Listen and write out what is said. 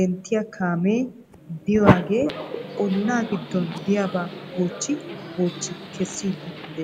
denttiyaa kaamee de'iyaagee ollaa giddon de'iyaaba goochchi goochchi kessiidi de'ees .